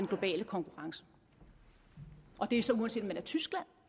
globale konkurrence og det er så uanset om man er tyskland